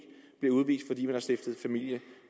bliver stiftet familie